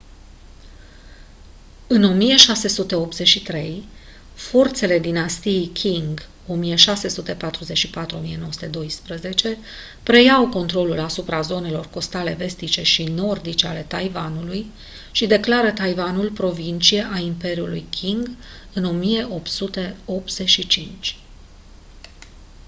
în 1683 forțele dinastiei qing 1644 - 1912 preiau controlul asupra zonelor costale vestice și nordice ale taiwanului și declară taiwanul provincie a imperiului qing în 1885